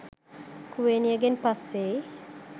කුවේනියගෙන් පස්සෙයි